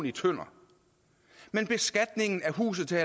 i tønder men beskatningen af huset til